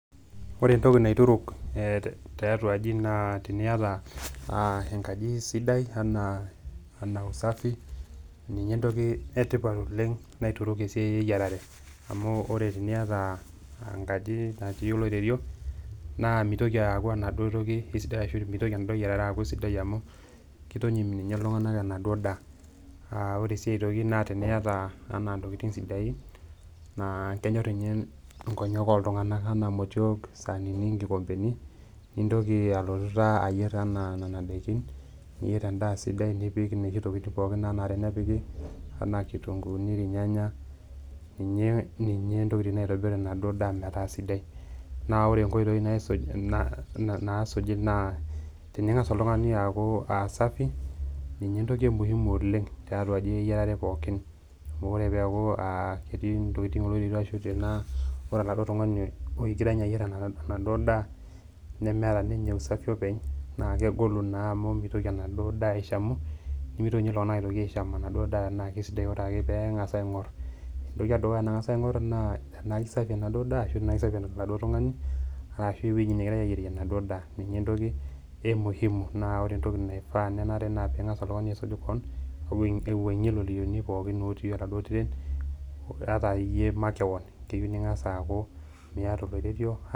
Ore entoki naituruk tiatua aji naa teniyata aa enkaji sidai enaa ena usafi, ninye entoki e tipat oleng' naituruk te siai e yiarare amu ore tiniyata enkaji natii oloirerio naa mitoki aaku ena duo toki kesidai ashu mitoki enaduo yiarare aaku sidai amu kitonyim nye iltung'anak enaduo daa. Aa ore sii aitoki naa teniyata enaa ntokitin sidain naa kenyor nye nkonyek oltung'anak enaa motiok, saanini, nkikombeni, nintoki alutu taa ayer enaa nena daikin, niyer endaa sidai nipik inoshi tokitin pookin naanare nepiki enaa kitunguuni, irnyanyak, ninye ninye ntokitin naitobir enaduo daa metaa sidai. Naa ore nkoitoi naisuji naa naasuji naa tening'asa oltung'ani aaku aa safi, ninye entoki e muhimu oleng' tiatua dii eyiarare pookin amu kore peeku aa etii ntokitin oloirerio ashu tenaa ore oladuo tung'ani ogira nye ayer enaduo daa nemeeta ninye usafi openy, naa kegolu naa amu mitoki enaduo daa aishamu nemitoki nye iltung'anak aishamu enaduo daa enaake kesidai amu ore nye peeng'asa aing'or entoki e dukuya nang'asa aing'or naa tenaake safi enaduo daa ashu ke safi oladuo tung'ani arashu ewuei negirai aayerie enaduo daa. Ninye entoki e muhimu naa ore entoki naifaa nenare naa ping'asa oltung'ani aisuj koon awuang'ie ilorerioni pookin otii oladuo tiret ata iyie makeon keyeu ning'asa aaku miata oloirerio.